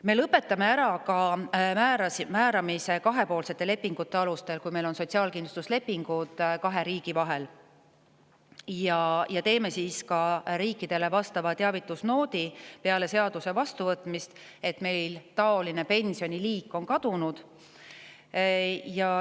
Me lõpetame ära ka määramise kahepoolsete lepingute alusel, kui meil on sotsiaalkindlustuslepingud kahe riigi vahel, ja peale seaduse vastuvõtmist teeme ka riikidele teavitusnoodi selle kohta, et meil on selline pensioniliik kadunud.